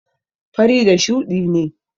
fari da shuɗi ne.